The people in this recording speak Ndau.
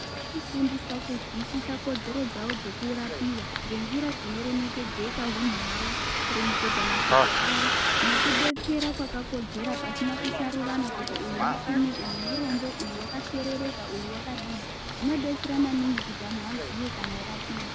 Kufundiswa kuzwisisa kodzero dzavo dzekurapiva ngenjira dzinoremekedzeka hunhu hwavo. Kuremekedza mashoko avo nekubetsera kwakakodzera pasina kusarurana kuti uyu mupfumi uyu murombo uyu vakasherereka uyu vakadini. Zvinobetsera maningi kuti antu aziye kana eirapiva.